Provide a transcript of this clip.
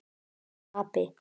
Þú ert api.